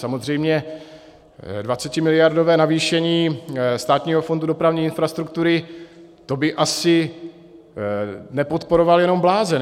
Samozřejmě 20miliardové navýšení Státního fondu dopravní infrastruktury, to by asi nepodporoval jenom blázen.